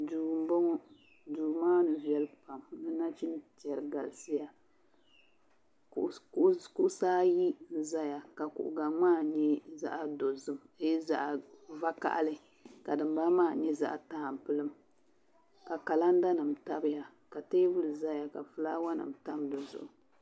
Duu m-bɔŋɔ duu maa ni viɛli pam di nachintɛri galisiya kuɣisi ayi n-zaya ka kuɣ' gaŋa maa nyɛ zaɣ' dɔzim aai zaɣ' vakahili ka din bala maa mi nyɛ zaɣ' tampilim ka kalandanima tabiya ka teebuli zaya ka filaawanima tam di zuɣu